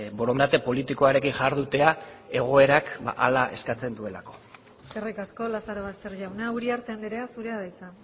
borondate politikoarekin jardutea egoerak hala eskatzen duelako eskerrik asko lazarobaster jauna uriarte andrea zurea da hitza